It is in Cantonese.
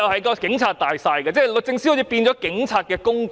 警察最大，律政司好像變成警察的工具。